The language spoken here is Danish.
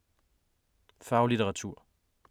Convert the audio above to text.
Faglitteratur